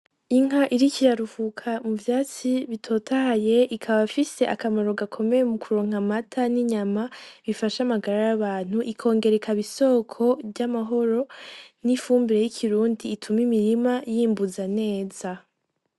Inka iriko iraruhuka mu vyatsi bitotahaye ikaba ifise akamaro gakomeye mu kuronka amata n'inyama bifasha amagara y'abantu ikongera ikaba isoko ry'amahoro n'ifumbire y'ikirundi ituma imirima y'imbuza neza.